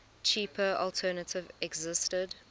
cheaper alternative existed